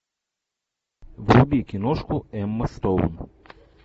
вруби киношку эмма стоун